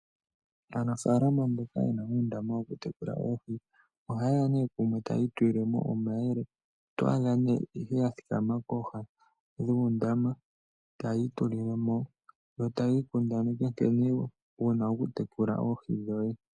Aanafalama mboka yena uundama woku tekula oohi ohayeya kumwe eta ya itulilemo omayele , oto adha nduno yathikama koha dhundama taya itulilemo yo taya ikundaneke nkene yena okutekula oohi dhawo.